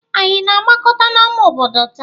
Ànyị na-agbakọta n'ámá obodo taa?